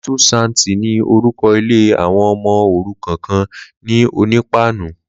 Lítú Sénti ni órúkọ̀ ilé awọn ọmọ órúkàn kàn ni Onipanu